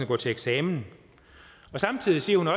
gå til eksamen samtidig siger hun at